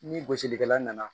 Ni gosilikɛla nana